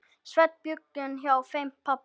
Sveinn bjuggum hjá þeim pabba.